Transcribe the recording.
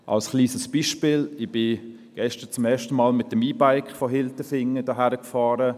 Ein kleines Beispiel: Ich bin gestern zum ersten Mal mit dem E-Bike von Hilterfingen hier hergefahren.